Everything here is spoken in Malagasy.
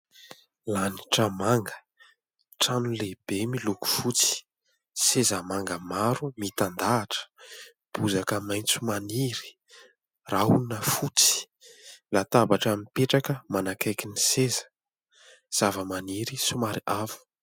Lanitra manga, trano lehibe miloko fotsy, seza manga maro mitandahatra, bozaka maitso maniry, rahona fotsy, latabatra mipetraka manakaiky ny seza, zava-maniry somary avo.